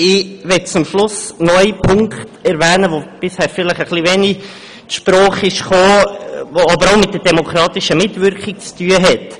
Ich möchte zum Schluss noch einen Punkt erwähnen, der bisher vielleicht etwas wenig zur Sprache gekommen ist, der aber auch mit der demokratischen Mitwirkung zu tun hat.